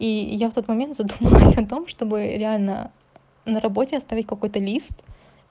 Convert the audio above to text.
и я в тот момент задумалась о том чтобы реально на работе оставить какой-то лист